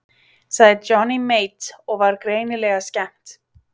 Sagði Johnny Mate og var greinilega skemmt.